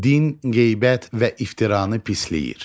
Din qeybət və iftiranı pisləyir.